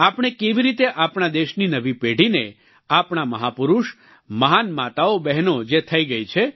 આપણે કેવી રીતે આપણા દેશની નવી પેઢીને આપણા મહાપુરુષ મહાન માતાઓબહેનો જે થઈ ગઈ છે